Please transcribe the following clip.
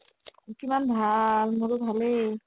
কিমান ভাল মোৰটো ভালে